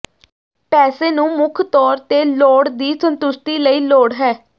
ਪੈਸੇ ਨੂੰ ਮੁੱਖ ਤੌਰ ਤੇ ਲੋੜ ਦੀ ਸੰਤੁਸ਼ਟੀ ਲਈ ਲੋੜ ਹੈ